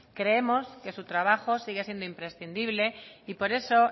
creemos que su trabajo sigue siendo imprescindible y por eso